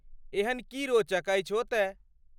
एहन की रोचक अछि ओतय?